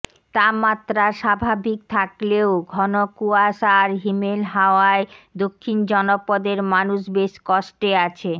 তাপমাত্রার স্বাভাবিক থাকলেও ঘন কুয়াশা আর হিমেল হাওয়ায় দক্ষিণ জনপদের মানুষ বেশ কষ্টে আছে